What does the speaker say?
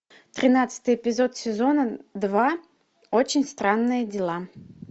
тринадцатый эпизод сезона два очень странные дела